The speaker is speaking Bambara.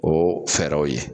O fɛɛrɛw ye.